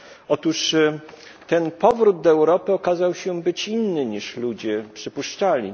Otóż ten powrót do Europy okazał się być inny, niż ludzie przypuszczali.